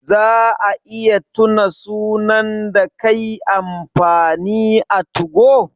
Za a iya tuna sunan da kai amfani a 2go?